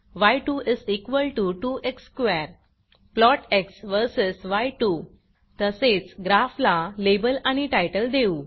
य2 2एक्स square plot x versus य2 तसेच ग्राफला लेबल आणि टायटल देऊ